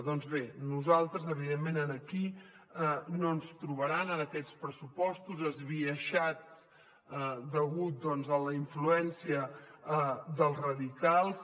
doncs bé a nosaltres evidentment aquí no ens trobaran en aquests pressupostos esbiaixats degut a la influència dels radicals